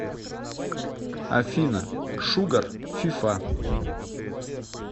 афина шугар фифа